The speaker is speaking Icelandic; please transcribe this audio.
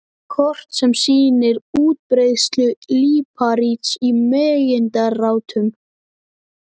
Kort sem sýnir útbreiðslu líparíts í megindráttum.